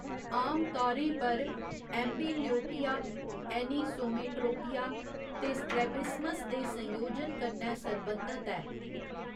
आमतौरें पर, amblyopia, anisometropia ते strabismus दे संयोजन कन्नै सरबंधत ऐ।